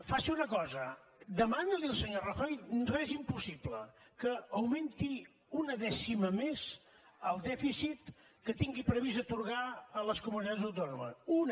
faci una cosa demani li al senyor rajoy res impossible que augmenti una dècima més el dèficit que tingui previst atorgar a les comunitats autònomes una